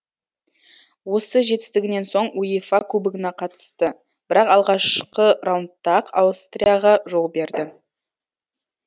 осы жетістігінен соң уефа кубогына қатысты бірақ алғашқы раундта ақ аустрияға жол берді